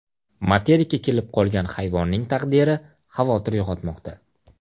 Materikka kelib qolgan hayvonning taqdiri xavotir uyg‘otmoqda.